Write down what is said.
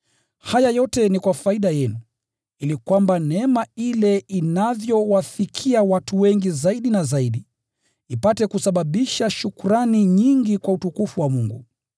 Haya yote ni kwa faida yenu, ili kwamba neema ile inavyowafikia watu wengi zaidi na zaidi, ipate kusababisha shukrani nyingi kwa utukufu wa Mungu.